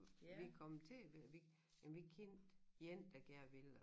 Vi kom til vi jamen vi kendte en der gerne ville og